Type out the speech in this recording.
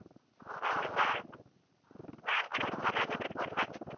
ಹೌದ ನಾನ್ ಕೂಡ ಸಮ್ಮನೆ ಹಾಗಾದ್ರೆ phone ಮಾಡಿದ್ದು.